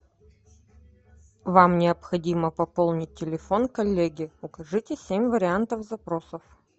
вам необходимо пополнить телефон коллеги укажите семь вариантов запросов